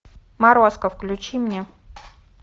морозко включи мне